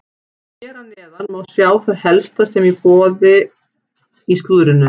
Hér að neðan má sjá það helsta sem er í boði í slúðrinu.